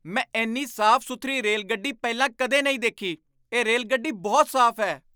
ਮੈਂ ਇੰਨੀ ਸਾਫ਼ ਸੁਥਰੀ ਰੇਲਗੱਡੀ ਪਹਿਲਾਂ ਕਦੇ ਨਹੀਂ ਦੇਖੀ! ਇਹ ਰੇਲਗੱਡੀ ਬਹੁਤ ਸਾਫ਼ ਹੈ!